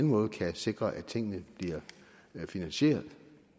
måde kan sikre at tingene bliver finansieret